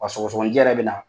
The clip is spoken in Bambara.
Ɔ sɔgɔsɔgɔnijɛ yɛrɛ be na